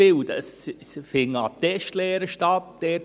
Es finden Attestlehren statt.